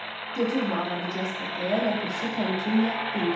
Götür bu avarı Jasper deyə ləpirçi təmkinlə dilləndi.